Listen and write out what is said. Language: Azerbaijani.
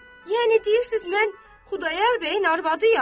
Yəni deyirsiz mən Xudayar bəyin arvadıyam?